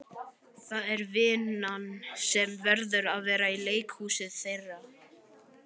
Það er vinn- an sem verður að vera leikhúsið þeirra.